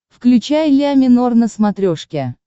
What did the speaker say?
включай ля минор на смотрешке